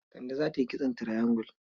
Kande za ta yi kitson triangle?